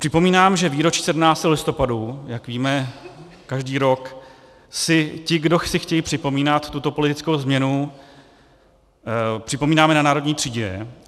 Připomínám, že výročí 17. listopadu, jak víme, každý rok si ti, kdo si chtějí připomínat tuto politickou změnu, připomínáme na Národní třídě.